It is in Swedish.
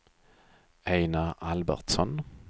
Ejnar Albertsson